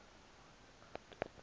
nani ma adebe